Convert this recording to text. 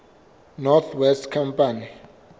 north west company